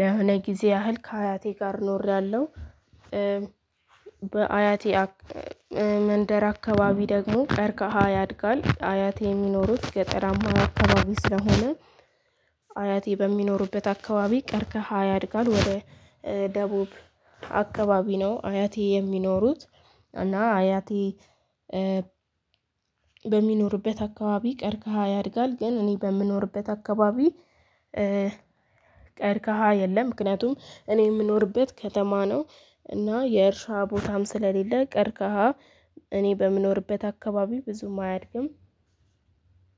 ለሆነ ጊዜ ያህል ከአያቴ ጋር ኖሬያለሁ። በአያቴ መንደር አካባቢ ደግሞ ቀርከሃ ያድጋል አያቴ የሚኖሩት ገጠራማ አካባቢ ስለሆነ። አያቴ በሚኖሩበት አካባቢ ቀርከሃ ያድጋል። ወደ ደቡብ አካባቢ ነው አያቴ የሚኖሩት። እና አያቴ በሚኖርበት አካባቢ ቀርከሃ ያድጋል። ግን እኔ በምኖርበት አካባቢ ቀርከሃ የለም። ምክንያቱም እኔ የምኖርበት ከተማ ነው። እና የእርሻ ቦታም ስለሌለ ቀርከሃ እኔ በምኖርበት አካባቢ ብዙም አያድግም።